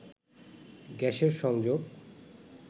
গ্যাসের সংযোগ